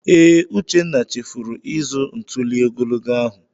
Ee, Uchenna chefuru ịzụ ntuli ogologo ahụ.